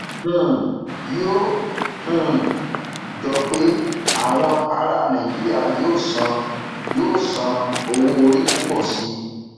um yóò um jọ pé àwọn ara nàìjíríà yóò san yóò san owó orí púpọ sí i